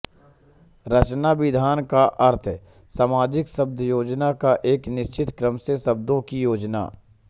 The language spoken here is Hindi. रचनाविधान का अर्थ है समंजित शब्दयोजना या एक निश्चित क्रम से शब्दों की योजना